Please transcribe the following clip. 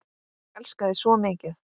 Ég elska þig svo mikið.